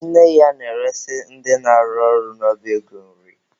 Nne ya na-eresị ndị na-arụ ọrụ n'ọba ego nri.